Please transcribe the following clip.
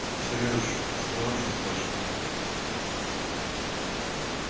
сереж осторожно спрашиваю я